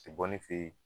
Tɛ bɔ ne fe yen